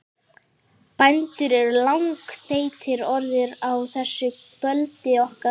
Bændur eru langþreyttir orðnir á þessu brölti okkar.